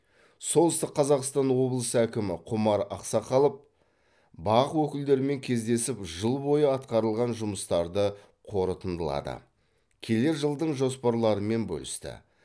солтүстік қазақстан облысы әкімі құмар ақсақалов бақ өкілдерімен кездесіп жыл бойы атқарылған жұмыстарды қорытындылады келер жылдың жоспарларымен бөлісті